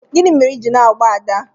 gini mere i ji na-agba Ada?